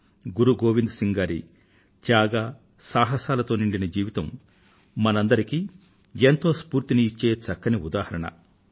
త్యాగం మరియు సాహసాలతో నిండిన గురు గోవింద్ సింగ్ గారి జీవితం మనందరికీ ఎంతో స్ఫూర్తిని ఇచ్చే చక్కని ఉదాహరణ